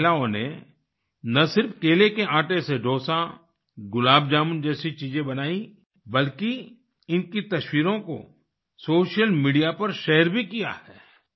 इन महिलाओं ने न सिर्फ केले के आटे से डोसा गुलाब जामुन जैसी चीजें बनाई बल्कि इनकी तस्वीरों को सोशल मीडिया पर शेयर भी किया है